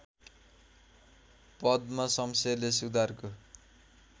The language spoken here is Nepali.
पद्म शमशेरले सुधारको